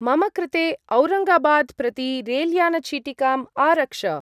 मम कृते औरङ्गाबाद् प्रति रेल्यान-चीटिकाम् आरक्ष।